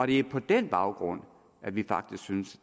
det er på den baggrund vi faktisk synes